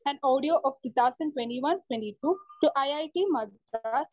speaker 1 an audio of two thousand twenty one , twenty two two IIT Madras